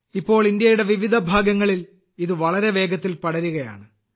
ഇപ്പോൾ ഇന്ത്യയുടെ വിവിധ ഭാഗങ്ങളിൽ ഇത് വളരെ വേഗത്തിൽ പടരുകയാണ്